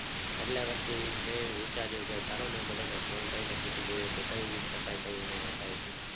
એટલે પછી મેં વિચારું ચાલો ને બધા ને ફોને કરી ને પૂછી જોઈએ કે કયું gift અપાય ને કયું નો અપાય